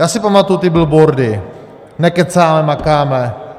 Já si pamatuji ty billboardy: Nekecáme, makáme.